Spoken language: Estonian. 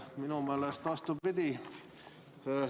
Minu meelest on vastupidi.